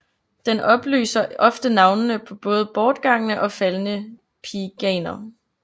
Den oplyser ofte navnene på både bortgangne og faldne pieganer